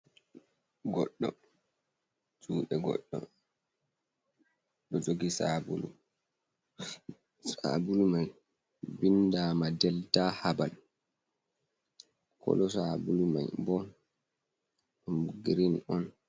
Godɗo, jude goɗɗo ɗo jogi sabulu, sabulu mai bindama delta habal, kolo sabulu mai bo ɗum girin on.